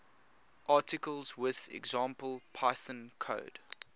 articles with example python code